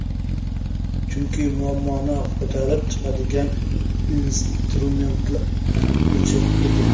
Chunki muammoni ko‘tarib chiqadigan instrument o‘chiq edi.